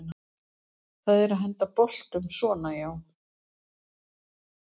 það er að henda boltum svona já